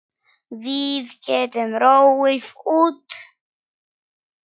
Við getum róið út.